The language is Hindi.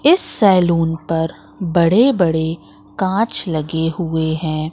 इस सैलून पर बड़े बड़े कांच लगे हुए हैं।